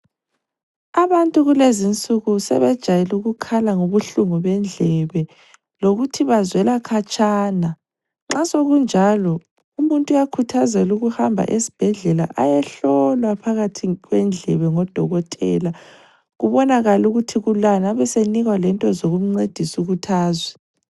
Abantu kulezinsuku sebejayelukukhala ngobuhlungu bendlebe lokuthi bazwela khatshana, nxa sokunjalo umuntu uyakhuthazelwa ukuhamba esbhedlela ayehlolwa phakathi kwendlebe ngodokotela kubonakale ukuthi kulani abesenikwa lento zokumncedisa ukuthi azwe.